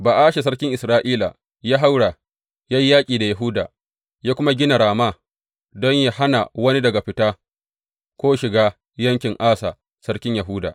Ba’asha sarkin Isra’ila ya haura, ya yi yaƙi da Yahuda, ya kuma gina Rama don yă hana wani daga fita ko shiga yankin Asa, sarkin Yahuda.